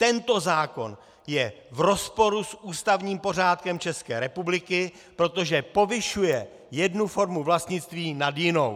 Tento zákon je v rozporu s ústavním pořádkem České republiky, protože povyšuje jednu formu vlastnictví nad jinou.